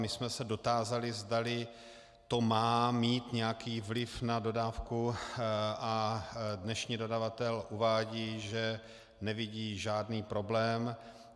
My jsme se dotázali, zdali to má mít nějaký vliv na dodávku, a dnešní dodavatel uvádí, že nevidí žádný problém.